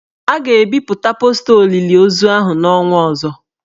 A ga-ebipụta posta olili ozu ahụ n'ọnwa ọzọ